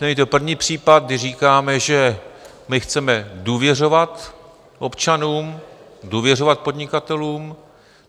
Není to první případ, kdy říkáme, že my chceme důvěřovat občanům, důvěřovat podnikatelům.